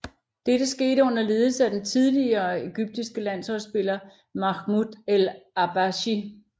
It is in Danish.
Dette skete under ledelse af den tidligere egyptiske landsholdsspiller Mahmoud El Habashy